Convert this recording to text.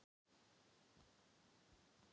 Ég man ekki hvað það heitir.